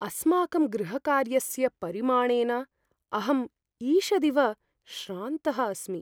अस्माकं गृहकार्यस्य परिमाणेन अहं ईषदिव श्रान्तः अस्मि।